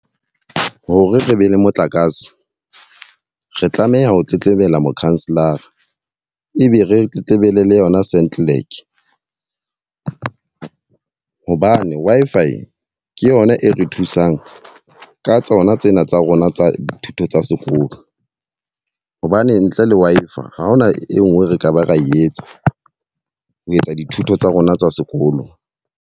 Hore re be le motlakase. Re tlameha ho tletlebela mokhanselara, e be re tletlebele le yona hobane Wi-Fi ke yona e re thusang ka tsona tsena tsa rona tsa dithuto tsa sekolo. Hobane ntle le Wi-Fi ha hona e nngwe re ka ba ra etsa ho etsa dithuto tsa rona tsa sekolo.